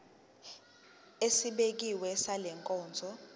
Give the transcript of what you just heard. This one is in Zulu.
esibekiwe sale nkonzo